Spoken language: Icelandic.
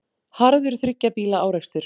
Harður þriggja bíla árekstur